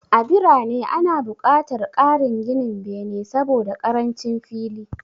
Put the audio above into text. A birane, ana buƙatar ƙarin ginin bene saboda ƙarancin fili.